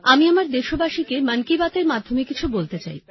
আমি আমার দেশবাসীকে মন কি বাত এর মাধ্যমে কিছু বলতে চাই